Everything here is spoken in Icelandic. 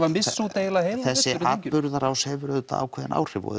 að missa út eiginlega heilan þessi atburðarás hefur auðvitað ákveðin áhrif og